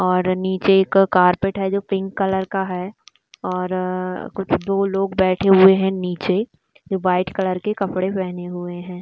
और नीचे एक कारपेट है जो पिंक कलर का है और कुछ दो लोग बैठे हुए है नीचे जो व्हाइट कलर के कपड़े पहने हुए है।